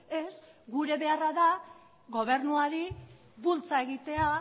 ez gure beharra da gobernuari bultza egitea